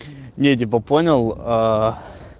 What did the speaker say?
не типа понял аа